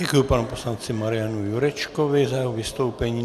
Děkuji panu poslanci Marianu Jurečkovi za jeho vystoupení.